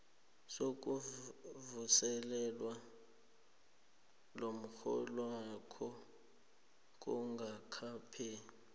sokuvuselelwa komrholwakho kungakapheli